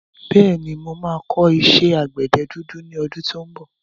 Bẹ́ẹ̀ni, mo máa kọ́ iṣẹ́ àgbẹ̀dẹ dúdú ní ọdún tí ó ń bọ̀.